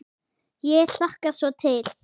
Ég hlakka svo Til.